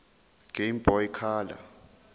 game boy color